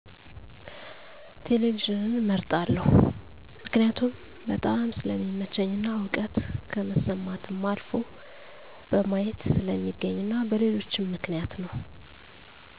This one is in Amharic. ቴሌቪዥንን እመርጣለሁ። መክኒያቱም በጣም ስለሚመቸኝ እና እዉቀት ከመስማትም አልፎ በማየት ስለሚገኝ እና በሌሎችም ምክንያት ነው